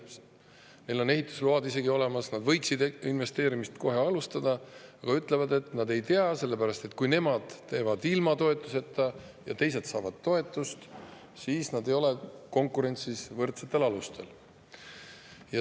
Neil on isegi ehitusload olemas, nad võiksid investeerimist kohe alustada, aga nad ütlevad, et, sellepärast et kui nemad teevad ilma toetuseta ja teised saavad toetust, siis nad ei ole konkurentsis võrdsetel alustel.